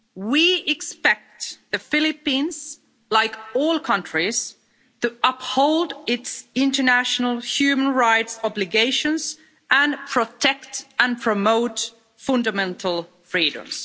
We expect the Philippines, like all countries, to uphold its international human rights obligations and protect and promote fundamental freedoms.